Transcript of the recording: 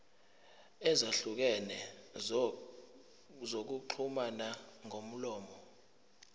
ezahlukene zokuxhumana ngomlomo